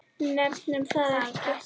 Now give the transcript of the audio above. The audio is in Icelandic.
Nefnum það ekki.